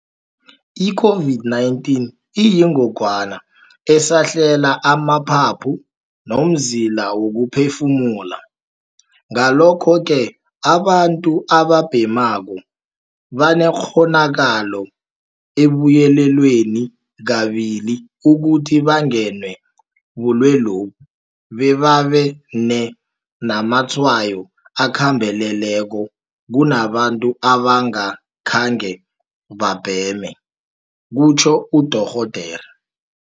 I-COVID-19 iyingogwana esahlela amaphaphu nomzila wokuphefumula. Ngalokho-ke, abantu ababhemako banekghonakalo ebuyelelwe kabili ukuthi bangenwe bulwelobu bebane namatshwayo akhambeleleko kunabantu abangakhange khebabheme, kutjho uDorh.